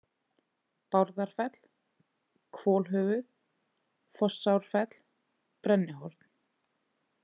Bárðarfell, Hvolhöfuð, Fossárfell, Brennihorn